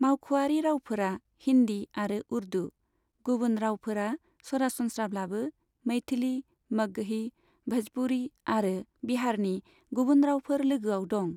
मावख'आरि रावफोरा हिन्दी आरो उर्दू, गुबुन रावफोरा सरासनस्राब्लाबो मैथिली, मगही, भ'जपुरी आरो बिहारनि गुबुन रावफोर लोगोआव दं।